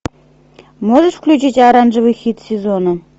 можешь включить оранжевый хит сезона